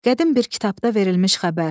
Qədim bir kitabda verilmiş xəbər: